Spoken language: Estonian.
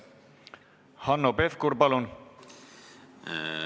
Hanno Pevkur, palun!